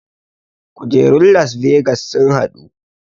Kujerun las vegas sun haɗu